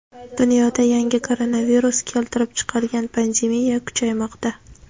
Dunyoda yangi koronavirus keltirib chiqargan pandemiya kuchaymoqda.